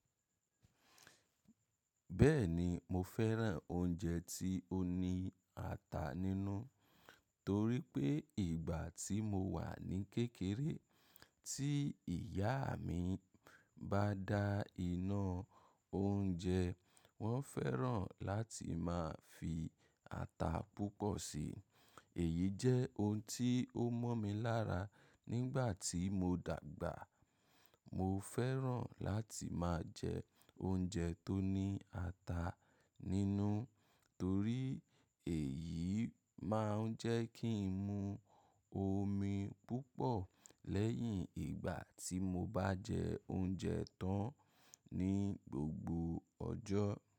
Bẹ́ẹ̀ni, mo fẹ́ràn oúnjẹ tí ó ní ata nínú torí pé ìgbà tí mo wà ní kékeré, tí ìyá mi bá dá iná oúnjẹ, wọ́n fẹ́ràn láti máa fi ata púpọ̀ sí. Èyí jẹ́ oun tí ó mọ́ mi lára nígbà tí mo dàgbà. Mo fẹ́ràn láti máa jẹ oúnjẹ tó ní ata nínú torí èyí máa ń jẹ́ kí n mu omi púpọ̀ lẹ́yìn ìgbà tí mo bá jẹ oúnjẹ tán ní gbogbo ọjọ́.